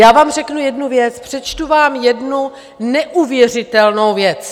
Já vám řeknu jednu věc, přečtu vám jednu neuvěřitelnou věc.